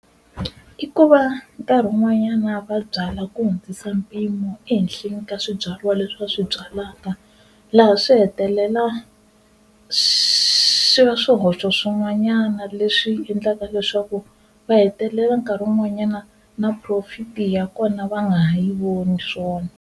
I ku va nkarhi un'wanyana va byala ku hundzisa mpimo ehenhleni ka swibyariwa leswi va swi byalaka, laha swi hetelela swi va swihoxo swin'wanyana leswi swi endleka leswaku va hetelela nkarhi wun'wanyana na profit-i ya kona va nga ha yi voni swona.